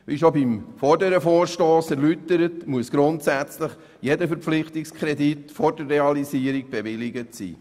Wie schon beim vorherigen Vorstoss erläutert, muss grundsätzlich jeder Verpflichtungskredit vor der Realisierung bewilligt sein.